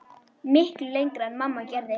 Miklu lengra en mamma gerði.